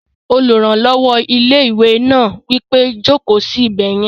Olùrànlọ́wọ́ ilé-ìwé náà wí pé, "Jòkó sí ibẹ̀ yẹn!"